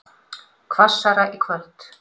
Hvassara í kvöld